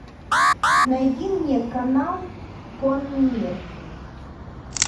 найди мне канал конный мир